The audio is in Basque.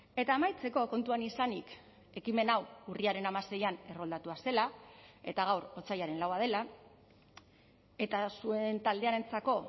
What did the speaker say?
eta amaitzeko kontuan izanik ekimen hau urriaren hamaseian erroldatua zela eta gaur otsailaren laua dela eta zuen taldearentzako